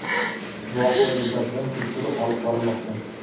Voqea yuzasidan tekshiruv olib borilmoqda.